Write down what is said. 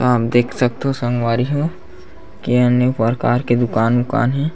आप देख सख्त हो संगवारी हो के अनेक प्रकार के दुकान उकान हे --